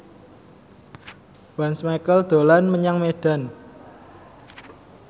Once Mekel dolan menyang Medan